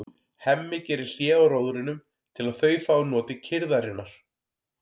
Hemmi gerir hlé á róðrinum til að þau fái notið kyrrðarinnar.